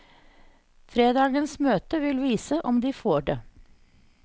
Fredagens møte vil vise om de får det.